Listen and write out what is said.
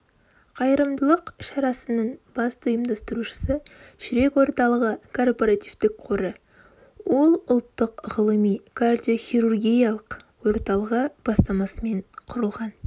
қайырымдылық шарасының басты ұйымдастырушысы жүрек орталығы корпоративтік қоры ол ұлттық ғылыми кардиохирургиялық орталығы бастамасымен құрылған